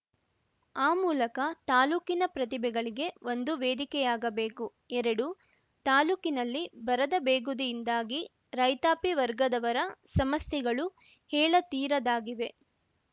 ಆ ಮೂಲಕ ತಾಲೂಕಿನ ಪ್ರತಿಭೆಗಳಿಗೆ ಒಂದು ವೇದಿಕೆಯಾಗಬೇಕು ಎರಡು ತಾಲೂಕಿನಲ್ಲಿ ಬರದ ಬೇಗುದಿಯಿಂದಾಗಿ ರೈತಾಪಿ ವರ್ಗದವರ ಸಮಸ್ಯೆಗಳು ಹೇಳತೀರದಾಗಿವೆ